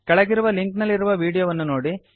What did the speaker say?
ಕೆಳಗಿರುವ ಲಿಂಕ್ ನಲ್ಲಿರುವ ವೀಡಿಯೊವನ್ನು ನೋಡಿ